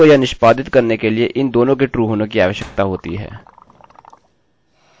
and को यह निष्पादित करने के लिए इन दोनों के true होने कि आवश्यकता होती है